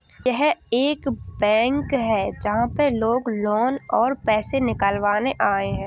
यह एक बैंक है जहां पर लोग लोन और पैसे निकलवाने आये है।